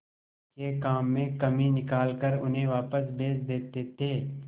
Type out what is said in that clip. के काम में कमी निकाल कर उन्हें वापस भेज देते थे